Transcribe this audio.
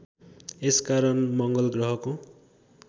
यस कारण मङ्गलग्रहको